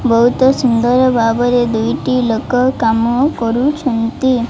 ବହୁତ ସୁନ୍ଦର ଭାବରେ ଦୁଇଟି ଲୋକ କାମ କରୁଛନ୍ତି।